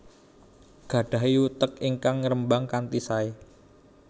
Gadahi utek ingkang ngerembag kanthi sae